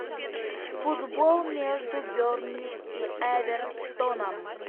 футбол между бернли и эвертоном